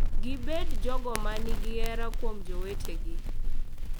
Gibed jogo ma nigi hera kuom jowetegi